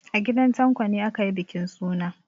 A gidan Tanko ne aka yi bukin suna.